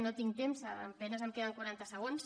no tinc temps a penes em queden quaranta segons